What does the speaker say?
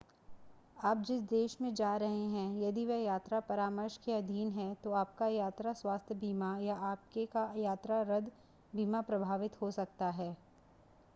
आप जिस देश में जा रहे हैं यदि वह यात्रा परामर्श के अधीन है तो आपका यात्रा स्वास्थ्य बीमा या आपकेका यात्रा रद्द बीमा प्रभावित हो सकता है